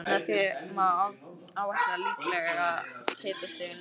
Með því má áætla líklegt hitastig niður á